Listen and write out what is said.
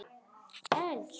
Elsku Emma mín.